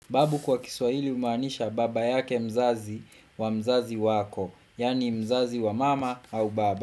Babu kwa kiswahili umaanisha baba yake mzazi wa mzazi wako, yani mzazi wa mama au baba.